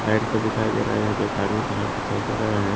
Light सा दिखाई दे रह है यहां पे एक आदमी का हाथ दिखाई दे रहा है।